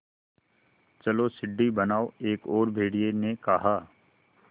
चलो सीढ़ी बनाओ एक और भेड़िए ने कहा